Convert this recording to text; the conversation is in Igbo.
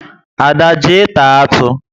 Ada, jee taa atụ!